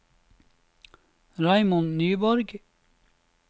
Raymond Nyborg